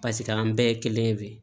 Paseke an bɛɛ ye kelen ye